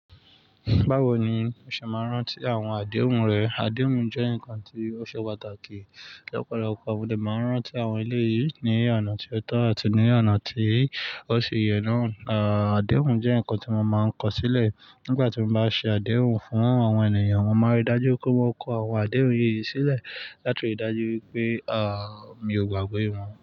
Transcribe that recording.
Báwo ni o ṣe máa ń rántí àwọn àdéhùn rẹ? Àdéhùn jẹ́ ǹkan tí ó ṣe pàtàkì. Lọ́pọ̀lọpọ̀ mọ dẹ̀ máa ń rántí àwọn èléyìí ní ọ̀nà tí ó tọ́ àti ní ọ̀nà tí kò ṣe yẹ náà. Àdéhùn jẹ́ ǹkan tí mo máa ń kọ sílẹ̀. Nígbà tí mo bá ṣe àdéhùn fún àwọn ènìyàn, mo máa rí i dájú pé mo kó àwọn àdéhùn yìí sílẹ̀ láti rí i dájú wípé mi ò gbàgbé wọn.